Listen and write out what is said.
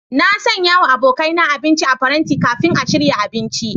Na sanya wa abokaina abinci a paranti kafin a shirya abinci.